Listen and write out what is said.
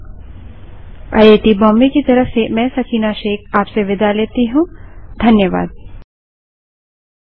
यह स्क्रिप्ट देवेन्द्र कैरवान द्वारा अनुवादित है तथा आई आई टी बॉम्बे की तरफ से मैं सकीना अब आप से विदा लेती हूँ